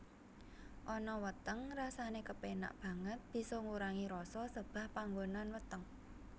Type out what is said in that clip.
Ana weteng rasane kepenak banget bisa ngurangi rasa sebah panggonan weteng